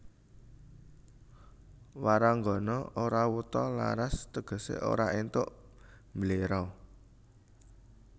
Waranggana ora wuta laras tegesé ora éntuk mbléro